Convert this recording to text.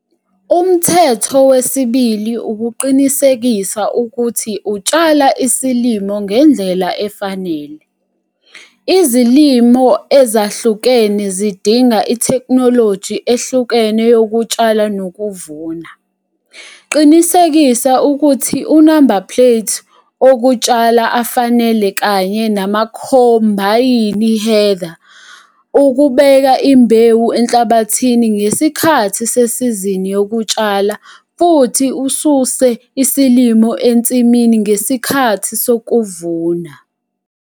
Umthetho wesibili ukuqinisekisa ukuthi utshala isilimo ngendlela efanele. Izilimo ezahlukene zidinga itheknoloji ehlukene yokutshala nokuvuna. Qinisekisa ukuthi unamba-plate okutshala afanele kanye namakhombayini header ukubeka imbewu enhlabathini ngesikhathi sesizini yokutshala futhi ususe isilimo ensimini ngesikhathi sokuvuna.